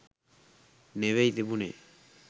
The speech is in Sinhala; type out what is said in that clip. නෙවෙයි තිබුණේ.